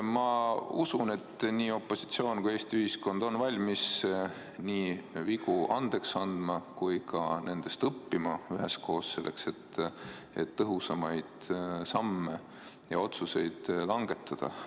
Ma usun, et nii opositsioon kui Eesti ühiskond on valmis nii vigu andeks andma kui ka nendest üheskoos õppima, selleks et langetada tõhusamaid otsuseid ja samme.